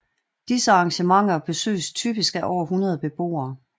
Disse arrangementer besøges typisk af over 100 beboere